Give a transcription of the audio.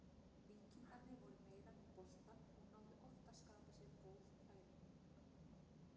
Víkingarnir voru meira með boltann og náðu oft að skapa sér góð færi.